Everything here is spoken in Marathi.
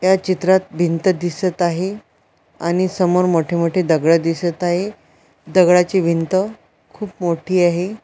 या चित्रात भिंत दिसत आहे आणि समोर मोठे मोठे दगळ दिसत आहे दगळाची भिंत खूप मोठी आहे.